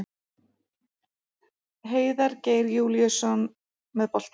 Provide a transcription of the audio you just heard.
Heiðar Geir Júlíusson með boltann.